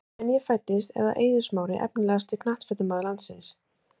Síðan ég fæddist er það Eiður Smári Efnilegasti knattspyrnumaður landsins?